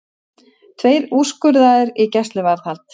Tveir úrskurðaðir í gæsluvarðhald